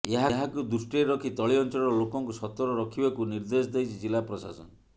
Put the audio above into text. ଏହାକୁ ଦୃଷ୍ଟିରେ ରଖି ତଳି ଅଞ୍ଚଳର ଲୋକଙ୍କୁ ସତର୍କ ରଖିବାକୁ ନିର୍ଦ୍ଦେଶ ଦେଇଛି ଜିଲ୍ଲା ପ୍ରଶାସନ